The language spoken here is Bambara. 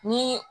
Ni